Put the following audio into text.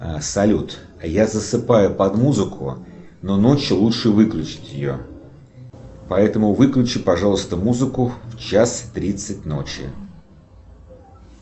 салют я засыпаю под музыку но ночью лучше выключить ее поэтому выключи пожалуйста музыку в час тридцать ночи